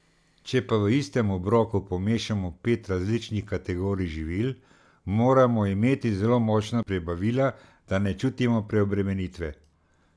Če pa v istem obroku pomešamo pet različnih kategorij živil, moramo imeti zelo močna prebavila, da ne čutimo preobremenitve.